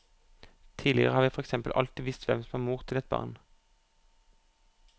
Tidligere har vi for eksempel alltid visst hvem som var mor til et barn.